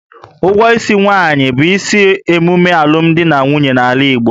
Ụgwọ isi nwaanyị bụ isi emume alụmdi na nwunye n'ala Igbo